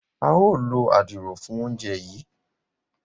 a yóò ló Àdìrò fún oúnjẹ yí.